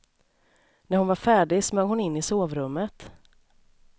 När hon var färdig smög hon in i sovrummet.